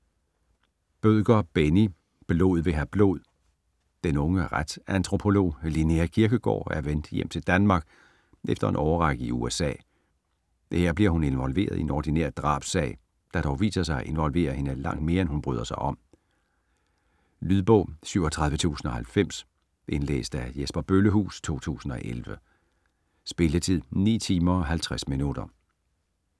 Bødker, Benni: Blod vil have blod Den unge retsantropolog, Linnea Kirkegaard, er vendt hjem til Danmark efter en årrække i USA. Her bliver hun involveret i en ordinær drabssag, der dog viser sig at involvere hende langt mere end hun bryder sig om. Lydbog 37090 Indlæst af Jesper Bøllehuus, 2011. Spilletid: 9 timer, 50 minutter.